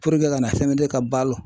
ka na CMDT ka balo